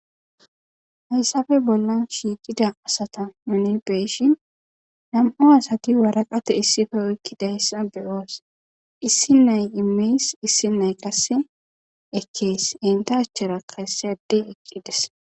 hayssafe bolla shiiqida asata manebeyshin nam7o asati waraqate issife oykkidayssa beyoos issi nay imeys issi nay qasse ekkees enta achera kaese ade eqqides